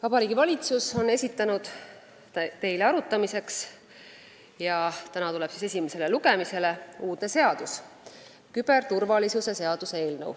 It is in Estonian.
Vabariigi Valitsus on esitanud teile arutamiseks uudse seaduse, mis tuleb täna esimesele lugemisele, see on küberturvalisuse seaduse eelnõu.